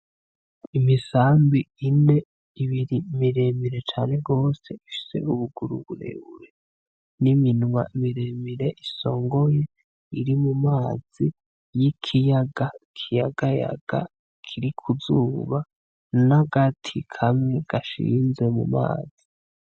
Imisambi ine. Ibiri miremire cane gose ifise ubuguru burebure n'iminwa miremire isongoye iri mu mazi y'ikiyaga kiyagayaga kiri ku zuba n'agati kamwe gashinze mu mazi.